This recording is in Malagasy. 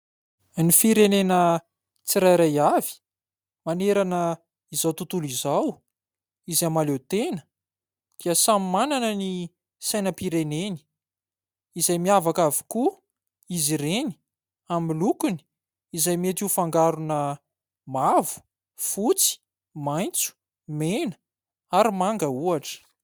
Ny firenena tsirairay avy manerana izao tontolo izao izay mahaleo tena kia samy manana ny sainam-pireneny izay miavaka avokoa izy ireny amin'ny lokony izay mety ho fangarona mavo, fotsy, maitso, mena ary manga ohatra.